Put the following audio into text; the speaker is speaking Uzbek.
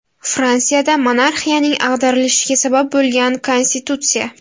Fransiyada monarxiyaning ag‘darilishiga sabab bo‘lgan konstitutsiya.